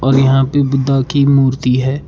और यहां पे बुद्धा की मूर्ति है।